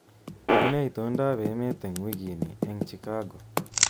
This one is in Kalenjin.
Unee itondoab emet eng wikini eng Chicago